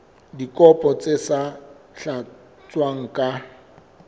dikopo tse sa tlatswang ka